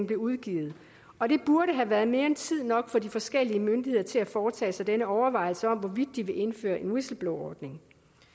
blev udgivet og det burde have været mere end tid nok for de forskellige myndigheder til at foretage denne overvejelse om hvorvidt de vil indføre en whistleblowerordning